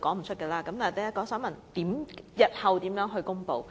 所以，我現在想問，日後會如何公布？